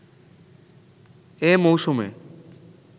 এ মৌসুমে